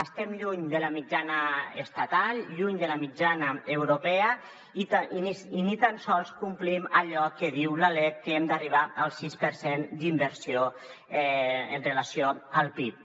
estem lluny de la mitjana estatal lluny de la mitjana europea i ni tan sols complim allò que diu la lec que hem d’arribar al sis per cent d’inversió amb relació al pib